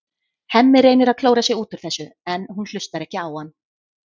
Hemmi reynir að klóra sig út úr þessu en hún hlustar ekki á hann.